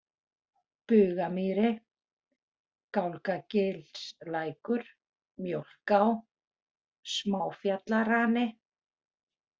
Bugamýri, Gálgagilslækur, Mjólká, Smáfjallarani